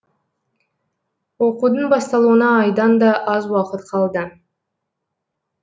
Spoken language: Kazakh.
оқудың басталуына айдан да аз уақыт қалды